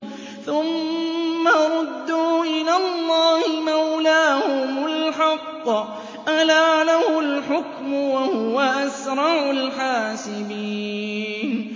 ثُمَّ رُدُّوا إِلَى اللَّهِ مَوْلَاهُمُ الْحَقِّ ۚ أَلَا لَهُ الْحُكْمُ وَهُوَ أَسْرَعُ الْحَاسِبِينَ